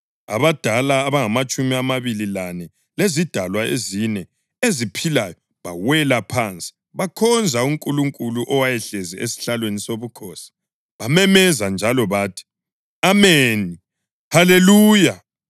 Abadala abangamatshumi amabili lane lezidalwa ezine eziphilayo bawela phansi bakhonza uNkulunkulu owayehlezi esihlalweni sobukhosi. Bamemeza njalo bathi: “Ameni, Haleluya!”